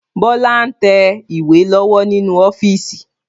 Bọlá ń tẹ ìwé lọ́wọ́ nínú ọ́fíìsì